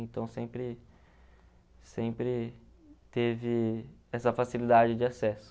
Então, sempre sempre teve essa facilidade de acesso.